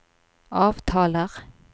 avtaler